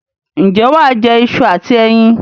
Ǹjẹ́ wà á jẹ iṣu àti ẹyin?